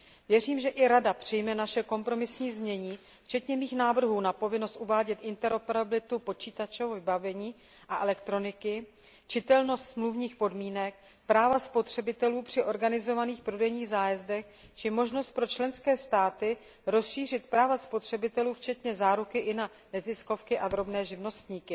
Věřím, že i Rada přijme naše kompromisní znění včetně mých návrhů, pokud jde o povinnost uvádět interoperabilitu počítačového vybavení a elektroniky, čitelnost smluvních podmínek, práva spotřebitelů při organizovaných prodejních zájezdech či možnost pro členské státy rozšířit práva spotřebitelů včetně záruky i na neziskové organizace a drobné živnostníky.